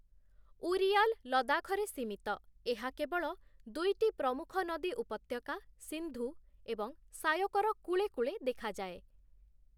ଉରିୟାଲ ଲଦାଖରେ ସୀମିତ, ଏହା କେବଳ ଦୁଇଟି ପ୍ରମୁଖ ନଦୀ ଉପତ୍ୟକା, ସିନ୍ଧୁ ଏବଂ ଶାୟୋକର କୂଳେକୂଳେ ଦେଖାଯାଏ ।